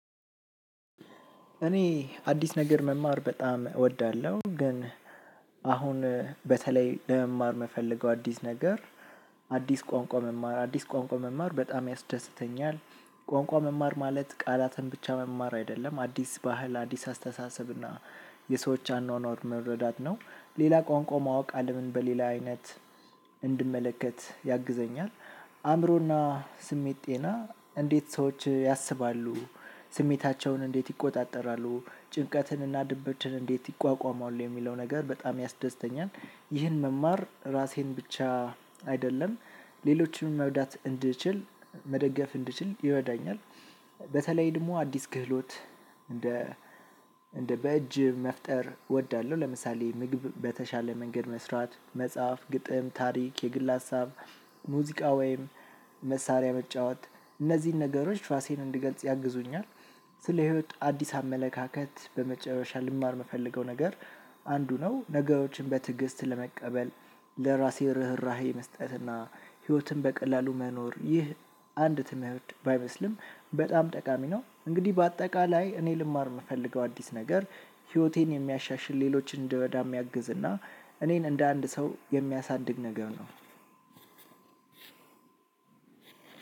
እኔ አዲስ ነገር መማር በጣም እወዳለሁ ግን አሁን በተለይ ለመማር የምፈልገው አዲስ ነገር አዲስ ቋንቋ መማር አዲስ ቋንቋ መማር በጣም ያስደስተኛል። ቋንቋ መማር ማለት ቃላትን ብቻ መማር አይደለም አዲስ ባህል አዲስ አስተሳሰብ እና የሰዎች አኗኗር መረዳት ነው ሌላ ቋንቋ ማወቅ አለምን በሌላ አይነት እንድመለከት ያግዘኛል። አእምሮና ስሜት ጤና እንዴት ሰዎች ያስባሉ ስሜታቸውን እንዴት ይቆጣጠራሉ ጭንቀትን እና ድብችን እንዴት ይቋቋመዋል የሚለው ነገር በጣም ያስደስተኛል። ይህን መማር ራሴን ብቻ አይደለም ሌሎችንም መርዳት እንድችል መደገፍ እንድችል ይረዳኛል። በተለይ ደግሞ አዲስ ክህሎት እንደ እንደ በእጅ መፍጠር እወዳለሁ። ለምሳሌ ምግብ በተሻለ መንገድ መስራት መጽሐፍ ግጥም ታሪክ የግል ሀሳብ ሙዚቃ ወይም መሳሪያ መጫወት እነዚህን ነገሮች ራሴን እንድገልጽ ያግዙኛል። ስለ ህይወት አዲስ አመለካከት በመጨረሻ ልማር የምፈልገው ነገር አንዱ ነው። ነገሮችን በትዕግስት ለመቀበል ለራሴ ርህራሄ መስጠትና ህይወትን በቀላሉ መኖር ይህ አንድ ትምህርት ባይመስልም በጣም ጠቃሚ ነው። እንግዲህ በአጠቃላይ እኔ ልማር የምፈልገው አዲስ ነገር ህይወቴን የሚያሻሽል ሌሎች እንድረዳ የሚያግዝ እና እኔን እንደ አንድ ሰው የሚያሳድግ ነገር ነው።